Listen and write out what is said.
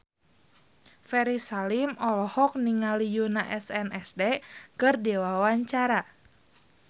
Ferry Salim olohok ningali Yoona SNSD keur diwawancara